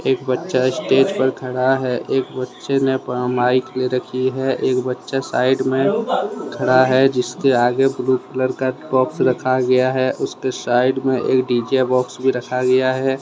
बच्चा स्टेज पर खड़ा है। एक बच्चे ने माइक ले रखी है। एक बच्चा साइड में खड़ा है जिसके आगे ब्ल्यू कलर का बॉक्स रखा गया है उसके साइड में एक डीजे बॉक्स भी रखा गया है।